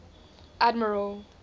admiral